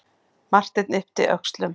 Marteinn yppti öxlum.